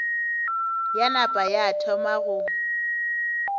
ya napa ya thoma go